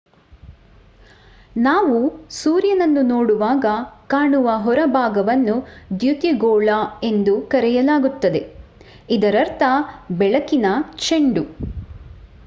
ನಾವು ಸೂರ್ಯನನ್ನು ನೋಡುವಾಗ ಕಾಣುವ ಹೊರಭಾಗವನ್ನು ದ್ಯುತಿಗೋಳ ಎಂದು ಕರೆಯಲಾಗುತ್ತದೆ ಇದರರ್ಥ ಬೆಳಕಿನ ಚೆಂಡು